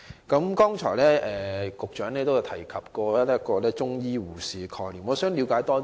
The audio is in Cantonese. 局長剛才提到中醫護士的概念，我想了解更多。